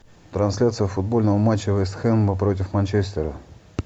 трансляция футбольного матча вест хэма против манчестера